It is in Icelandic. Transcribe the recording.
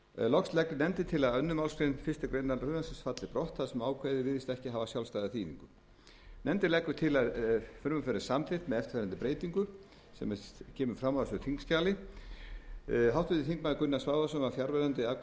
loks leggur nefndin til að öðru efnismgr fyrstu grein frumvarpsins falli brott þar sem ákvæðið virðist ekki hafa sjálfstæða þýðingu nefndin leggur til að frumvarpið verði samþykkt með eftirfarandi breytingu sem kemur fram á þessu þingskjali háttvirtir þingmenn gunnar svavarsson var fjarverandi við afgreiðslu